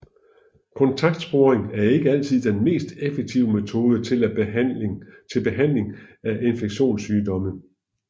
Kontaktsporing er ikke altid den mest effektive metode til behandling af infektionssygdomme